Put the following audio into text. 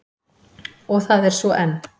Og það er svo enn.